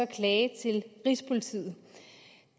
klage til rigspolitiet